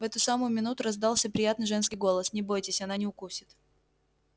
в эту самую минуту раздался приятный женский голос не бойтесь она не укусит